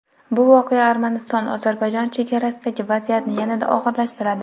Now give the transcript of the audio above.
bu voqea Armaniston-Ozarbayjon chegarasidagi vaziyatni yanada og‘irlashtiradi.